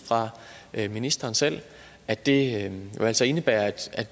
af ministeren selv at det jo altså indebærer at